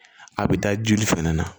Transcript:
A bɛ da joli fɛnɛ na